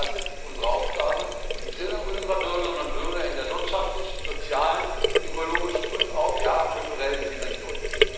Das ist unsere Aufgabe im Sinne unserer Bürgerinnen und Bürger, in der wirtschaftlichen, sozialen, ökologischen und auch kulturellen Dimension.